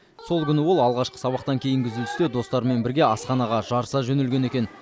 сол күні ол алғашқы сабақтан кейінгі үзілісте достарымен бірге асханаға жарыса жөнелген екен